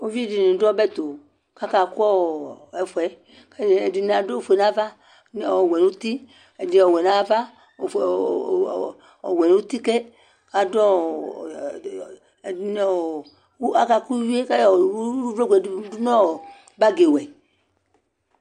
uvi di ni do ɔbɛ to k'aka kò ɛfu yɛ k'ɛdini adu ofue n'ava ɛdi ɔwɛ n'uti ɛdini ɔwɛ n'ava ofue ɔwɛ n'uti ke k'adu ɛdini aka kò uwi yɛ k'ayɔ uvloku yɛ do no bag wɛ